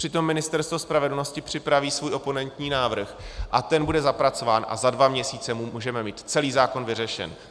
Přitom Ministerstvo spravedlnosti připraví svůj oponentní návrh a ten bude zapracován a za dva měsíce můžeme mít celý zákon vyřešen.